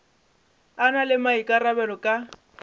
a na le maikarabelo ka